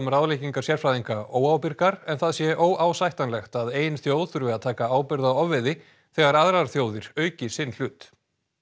ráðleggingar sérfræðinga óábyrgar en það sé óásættanlegt að ein þjóð þurfi að taka ábyrgð á ofveiði þegar aðrar þjóðir auki sinn hlut